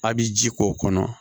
A' bi ji k'o kɔnɔ